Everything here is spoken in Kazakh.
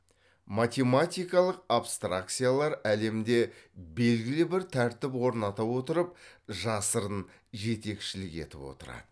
математикалық абстракциялар әлемде белгілі бір тәртіп орната отырып жасырын жетекшілік етіп отырады